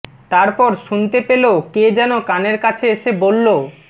তারপর শুনতে পেল কে যেন কানের কাছে এসে বলল